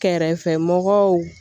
Kɛrɛfɛ mɔgɔw